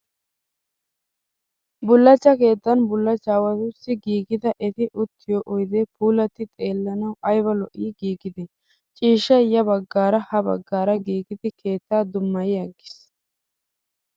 Bullachcha keettan bullachchaawatussi giigida eti uttiyoo oyidee puulatti xeellananawu ayiba lo''i giigidee! Ciishshayi ya baggaara ha baggaara giigidi keeta dummayi aggis.